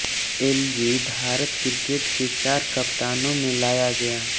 LG भारतीय cricket के चार कप्तानों में लाया गया